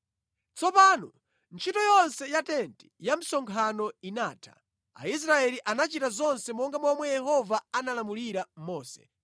Tsopano ntchito yonse ya tenti ya msonkhano inatha. Aisraeli anachita zonse monga momwe Yehova analamulira Mose.